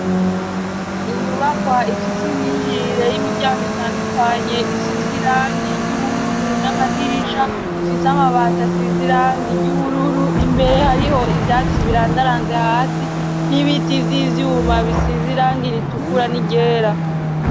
inyubakwa ifise imyinjirire y'imiryango itandukanye isizirangi ry'ubururu n'amadirisha ifise amabata sizirangi ry'ubururu imbere hariho ivyatsi birandaranze hasi n'ibiti vy'ivyuma bisizirangi ritukura n'iryera